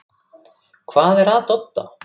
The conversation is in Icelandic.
Hvað er að Dodda?